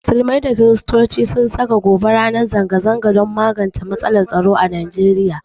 Musulmai da Kirstoci sun saka gobe ranar zanga zanga don magance matsalar tsaro a nigeria